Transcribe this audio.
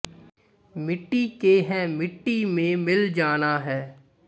ਮਿੱਟੀ ਕੇ ਹੈਂ ਮਿੱਟੀ ਮੇਂ ਮਿਲ ਜਾਨਾ ਹੈ